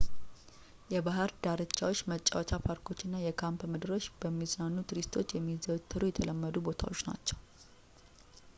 የባህር ዳርቻዎች መጫወቻ ፓርኮች እና የካምፕ ምድሮች በሚዝናኑ ቱሪስቶች የሚዘወተሩ የተለመዱ ቦታዎች ናቸው